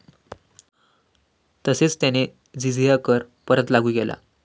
तसेच त्याने जिझिया कर परत लागू केला.